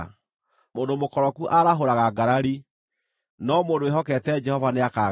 Mũndũ mũkoroku aarahũraga ngarari, no mũndũ wĩhokete Jehova nĩakagaacĩra.